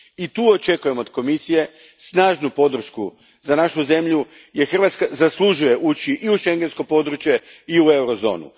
I tu očekujem od Komisije snažnu podršku za našu zemlju, jer Hrvatska zaslužuje ući i u Schengensko područje i u Eurozonu.